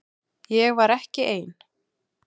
Ég var ekki ein.